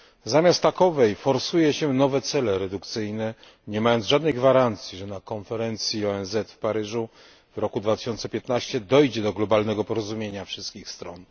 Zamiast takowej forsuje się nowe cele redukcyjne, nie mając żadnej gwarancji, że na konferencji ONZ w Paryżu w roku 2015 dojdzie do globalnego porozumienia wszystkich stron.